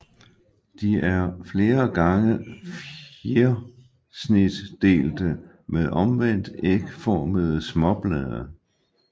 De er flere gange fjersnitdelte med omvendt ægformede småblade